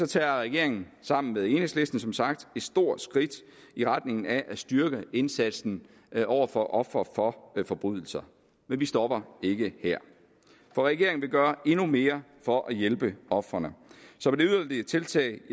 tager regeringen sammen med enhedslisten som sagt et stort skridt i retning af at styrke indsatsen over for ofre for forbrydelser men vi stopper ikke her for regeringen vil gøre endnu mere for at hjælpe ofrene som et yderligere tiltag